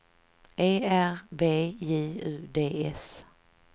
E R B J U D S